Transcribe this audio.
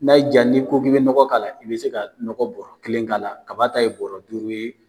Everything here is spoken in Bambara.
N'a y'i ja, ni ko k'i be nɔgɔ k'a la i be se ka nɔgɔ bɔrɔ kelen k'a la kaba ta ye bɔrɔ duuru ye.